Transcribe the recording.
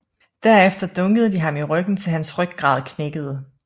Derefter dunkede de ham i ryggen til hans ryggrad knækkede